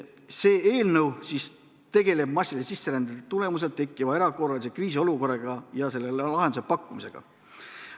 See eelnõu tegeleb massilise sisserände tagajärjel tekkiva erakorralise kriisiolukorraga ja sellele lahenduse pakkumisega.